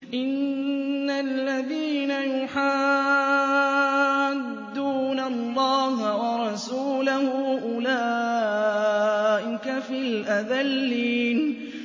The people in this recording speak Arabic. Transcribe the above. إِنَّ الَّذِينَ يُحَادُّونَ اللَّهَ وَرَسُولَهُ أُولَٰئِكَ فِي الْأَذَلِّينَ